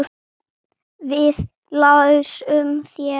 Við lásum þær.